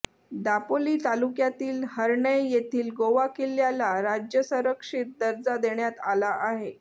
दापोली तालुक्यातील हर्णै येथील गोवा किल्ल्याला राज्य संरक्षित दर्जा देण्यात आला आहे